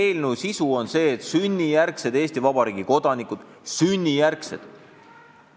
Eelnõu sisu on see, et sünnijärgsed Eesti Vabariigi kodanikud – sünnijärgsed!